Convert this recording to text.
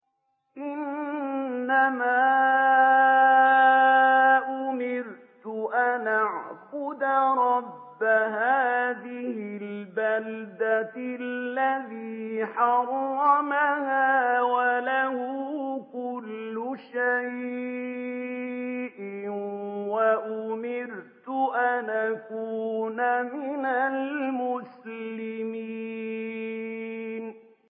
إِنَّمَا أُمِرْتُ أَنْ أَعْبُدَ رَبَّ هَٰذِهِ الْبَلْدَةِ الَّذِي حَرَّمَهَا وَلَهُ كُلُّ شَيْءٍ ۖ وَأُمِرْتُ أَنْ أَكُونَ مِنَ الْمُسْلِمِينَ